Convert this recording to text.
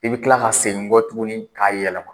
I bɛ kila ka segin kɔ tuguni k'a yɛlɛma.